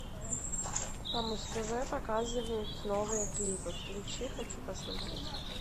по муз тв показывают новые клипы включи хочу посмотреть